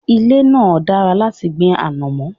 Ilẹ̀ náà dára láti gbin ànọ̀mó.